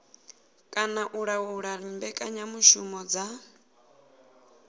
kana u laula mbekanyamushumo dza